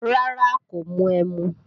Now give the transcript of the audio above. Rárá, kò mu ẹmu